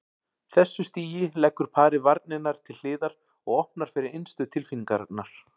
þessu stigi leggur parið varnirnar til hliðar og opnar fyrir innstu tilfinningarnar.